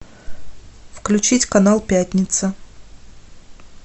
включить канал пятница